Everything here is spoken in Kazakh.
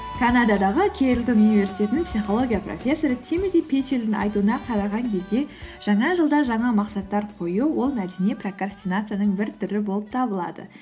канададағы келт университетінің психология профессоры тимоти петчелдің айтуына қараған кезде жаңа жылда жаңа мақсаттар қою ол мәдени прокрастинацияның бір түрі болып табылады